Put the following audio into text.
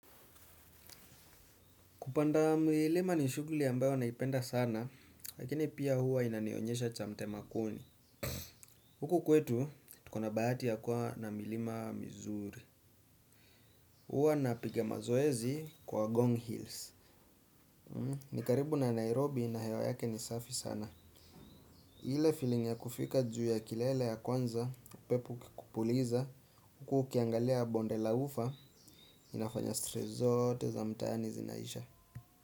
Kupanda milima ni shughuli ambayo naipenda sana, lakini pia huwa inanionyesha cha mtema kuni. Huku kwetu, tuko na bahati ya kuwa na milima mizuri. Huwa napiga mazoezi kwa Gong Hills. Ni karibu na Nairobi na hewa yake ni safi sana. Ile feeling ya kufika juu ya kilele ya kwanza, upepo ukikupuliza, huku ukiangalia bonde la ufa, inafanya stress zote za mtaani zinaisha.